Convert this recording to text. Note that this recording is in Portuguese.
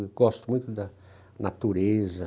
Eu gosto muito da natureza.